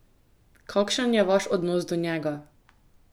Kakšen je vaš odnos do njega?